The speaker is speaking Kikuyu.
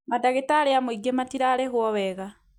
madagĩtarĩ a mũingĩ matirarĩhwo wega